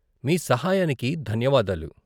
మీ సహాయానికి ధన్యవాదాలు.